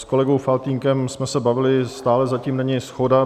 S kolegou Faltýnkem jsme se bavili, stále zatím není shoda.